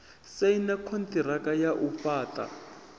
saina konṱiraka ya u fhaṱa